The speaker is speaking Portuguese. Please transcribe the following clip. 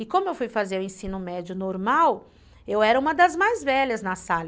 E como eu fui fazer o ensino médio normal, eu era uma das mais velhas na sala.